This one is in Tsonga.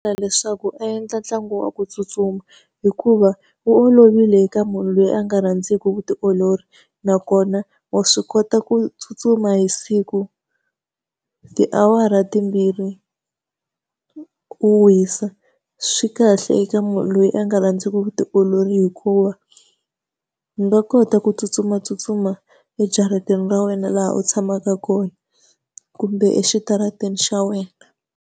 Leswaku endla ntlangu wa ku tsutsuma, hikuva wu olovile eka munhu loyi a nga rhandziku vutiolori nakona wa swi kota ku tsutsuma hi siku tiawara timbirhi, u wisa. Swi kahle eka munhu loyi a nga rhandziku vutiolori hikuva u nga kota ku tsutsumatsutsuma ejarateni ra wena laha u tshamaka kona, kumbe exitarateni xa wena.